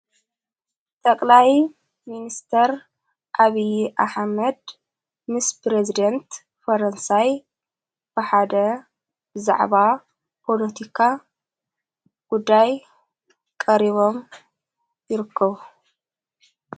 ጠቕላይ ምንስተር ኣብዪ ኣሓመድ ምስ ጵሬዝዴንት ፈረንሳይ ባሓደ ብዛዕባ ጵሎቲካ ጉዳይ ቀሪቦም ይርክብ።